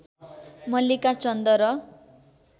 मल्लिका चन्द र